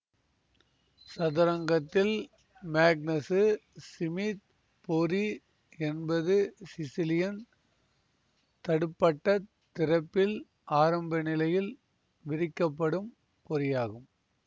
சதுரங்கத்தில் Magnus Smith பொறி என்பது Sicilian தடுப்பட்டத் திறப்பில் ஆரம்பநிலையில் விரிக்கப்படும் பொறியாகும்